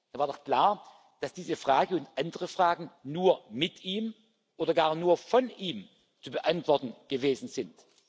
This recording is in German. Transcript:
Dann war doch klar, dass diese Frage und andere Fragen nur mit ihm oder gar nur von ihm zu beantworten gewesen